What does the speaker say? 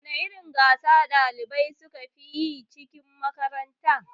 Wana irin gasa ɗalibai sukafi yi cikin makaranta?